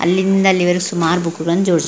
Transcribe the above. ಅಲ್ಲಿಂದ ಅಲ್ಲಿವರ್ಗ್ ಸುಮಾರ್ ಬುಕ್ ಗಳನ್ನೂ ಜೋಡ್ಸ್ --